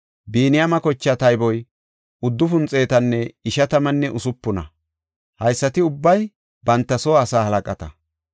Biniyaame kochaa tayboy uddufun xeetanne ishatammanne usupuna. Haysati ubbay banta soo asaa halaqata.